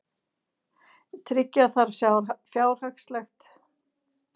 Tryggja þarf fjárhagslegt sjálfstæði þingsins